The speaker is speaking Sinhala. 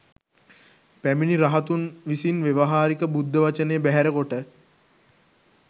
පැමිණි රහතුන් විසින් ව්‍යවහාරික බුද්ධ වචනය බැහැර කොට